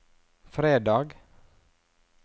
fredag